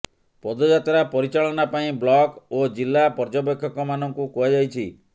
ପଦଯାତ୍ରା ପରିଚାଳନା ପାଇଁ ବ୍ଲକ ଓ ଜିଲ୍ଲା ପର୍ଯ୍ୟବେକ୍ଷକମାନଙ୍କୁ କୁହାଯାଇଛି